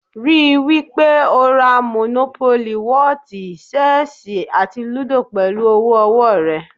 Rí i wí pé o ra mònópólì, wọ́ọ̀tì, ṣẹ́ẹ̀sì àti lúdò pẹ̀lú owó ọwọ́ rẹ